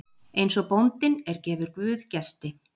Eins og bóndinn er gefur guð gesti.